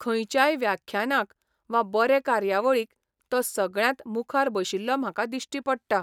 खंयच्याय व्याख्यानाक वा बरे कार्यावळीक तो सगळ्यांत मुखार बशिल्लो म्हाका दिश्टी पडटा.